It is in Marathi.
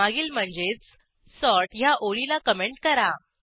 मागील म्हणजेच सॉर्ट ह्या ओळीला कमेंट करा